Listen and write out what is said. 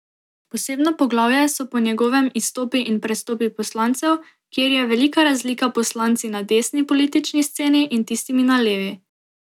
Posebno poglavje so po njegovem izstopi in prestopi poslancev, kjer je velika razlika poslanci na desni politični sceni in tistimi na levi.